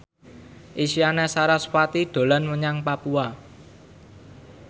Isyana Sarasvati dolan menyang Papua